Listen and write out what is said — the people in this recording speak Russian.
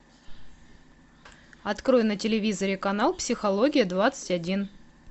открой на телевизоре канал психология двадцать один